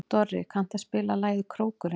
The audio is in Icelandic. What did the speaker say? Dorri, kanntu að spila lagið „Krókurinn“?